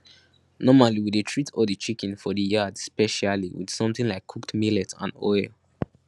normally we dey treat all the chicken for the yard specially with something like cooked millet and oil